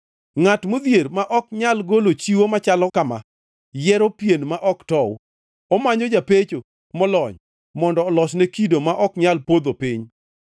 Ngʼat modhier ma ok nyal golo chiwo machalo kama, yiero yien ma ok tow. Omanyo japecho molony mondo olosne kido ma ok nyal podho piny.